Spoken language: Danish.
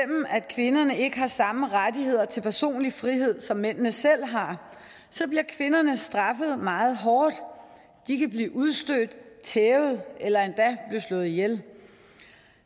at kvinderne ikke har samme rettigheder til personlig frihed som mændene selv har kvinderne straffet meget hårdt de kan blive udstødt tævet eller endda blive slået ihjel